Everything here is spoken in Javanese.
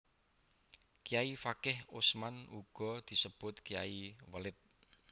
Kayai Fakih Usman uga sinebut Kyai Welit